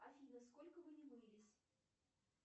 афина сколько вы не мылись